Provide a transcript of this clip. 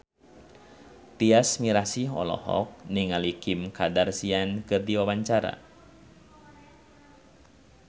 Tyas Mirasih olohok ningali Kim Kardashian keur diwawancara